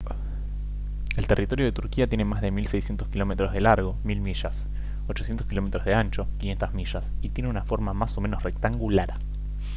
el territorio de turquía tiene más de 1600 kilómetros de largo 1000 mi 800 km de ancho 500 mi y tiene una forma más o menos rectangular